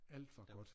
Alt var godt